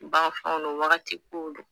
Banfɛnw don wagati kow don.